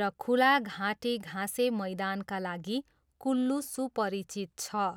र खुला घाटी घाँसे मैदानका लागि कुल्लू सुपरिचित छ।